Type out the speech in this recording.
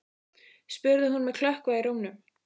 spurði hún með klökkva í rómnum.